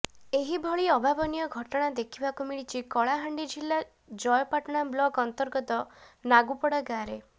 ଏହିଭଳି ଅଭାବନୀୟ ଘଟଣା ଦେଖିବାକୁ ମିଳିଛି କଳାହାଣ୍ଡି ଜିଲ୍ଲା ଜୟପାଟଣା ବ୍ଲକ୍ ଅନ୍ତର୍ଗତ ନାଗୁପଡ଼ା ଗାଁରେ